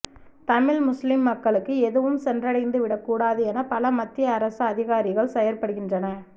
தமிழ் முஸ்லீம் மக்களுக்கு எதுவும் சென்றடைந்து விடக் கூடாது எனப் பல மத்திய அரச அதிகாரிகள் செயற்படுகின்றனர்